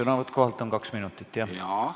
Sõnavõtt kohalt on kaks minutit, jah.